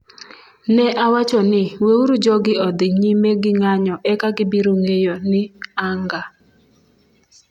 Ne awacho ni, 'Weuru jogi odhi, nyime gi nga'nyo eka gibiro ngeyo ni anga'